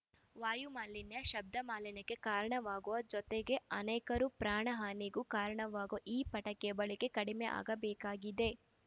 ವಾಯುಮಾಲಿನ್ಯ ಶಬ್ದಮಾಲಿನ್ಯಕ್ಕೆ ಕಾರಣವಾಗುವ ಜೊತೆಗೆ ಅನೇಕರು ಪ್ರಾಣಹಾನಿಗೂ ಕಾರಣವಾಗುವ ಈ ಪಟಾಕೆ ಯ ಬಳಕೆ ಕಡಿಮೆಯಾಗಬೇಕಾಗಿದೆ